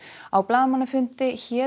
á blaðamannafundi hét